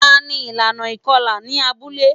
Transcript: Tani ilana ikọla ni abule?